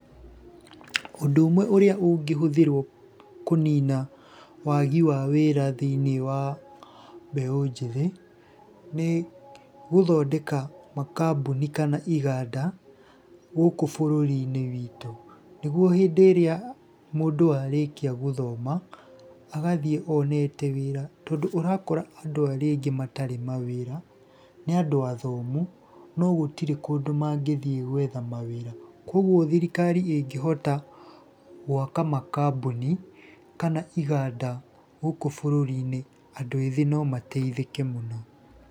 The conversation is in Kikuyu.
Ũndũ ũmwe ũrĩa ũngĩhũthĩrwo kũnina wagi wa wĩra thĩiniĩ wa mbeũ njĩthĩ, nĩ gũthondeka makambuni kana iganda gũkũ bũrũri-inĩ witũ. Nĩguo hĩndĩ ĩrĩa mũndũ arĩkia gũthoma gathiĩ onete wĩra, tondũ ũrakora andũ arĩa aingĩ matarĩ mawĩra nĩ andũ athomu, no gũtirĩ kũndũ mangĩthiĩ gwetha mawĩra. Kuũgo thirikari ĩngĩhota gwaka makambuni kana iganda gũkũ bũrũri-inĩ andũ ethĩ no mateithĩke mũno.